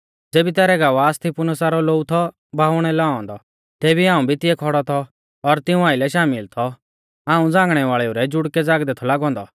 ज़ेबी तैरै गवाह स्तिफनुसा रौ लोऊ थौ बहाउणै लाऔ औन्दौ तेबी हाऊं भी तिऐ खौड़ौ थौ और तिऊं आइलै शामिल थौ हाऊं झ़ांगणै वाल़ेऊ रै जुड़कै ज़ागदै थौ लागौ औन्दौ